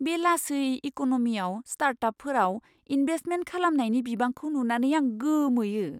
बे लासै इक'न'मियाव स्टार्टापफोराव इन्भेस्टमेन्ट खालामनायनि बिबांखौ नुनानै आं गोमोयो।